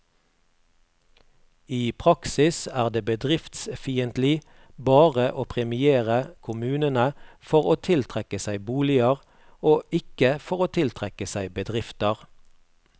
I praksis er det bedriftsfiendtlig bare å premiere kommunene for å tiltrekke seg boliger, og ikke for å tiltrekke seg bedrifter.